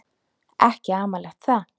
Ekki amalegt það.